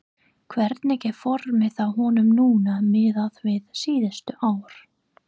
Hvernig er formið á honum núna miðað við síðustu ár?